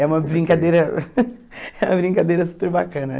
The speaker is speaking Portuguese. É uma brincadeira é uma brincadeira super bacana.